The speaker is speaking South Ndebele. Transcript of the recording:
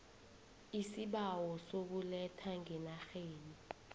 iisibawo sokuletha ngenarheni